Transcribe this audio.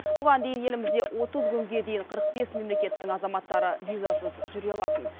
бұған дейін елімізде отыз күнге дейін қырық бес мемлекеттің азаматтары визасыз жүре алатын